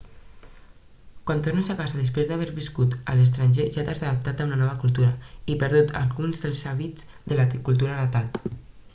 quan tornes a casa després d'haver viscut a l'estranger ja t'has adaptat a una nova cultura i perdut alguns dels hàbits de la cultura natal